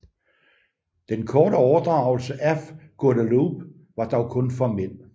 Den korte overdragelse af Guadeloupe var dog kun formel